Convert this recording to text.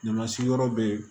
Ɲamasigi yɔrɔ bɛ yen